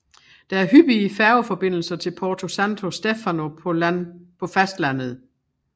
Der er hyppige færgeforbindelser til Porto Santo Stefano på fastlandet